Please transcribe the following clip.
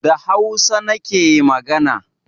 Da hausa nake magana